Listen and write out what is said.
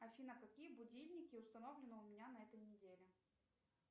афина какие будильники установлены у меня на этой неделе